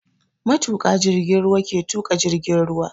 Matuƙa jirgin ruwa ke tuƙa jirgin ruwa.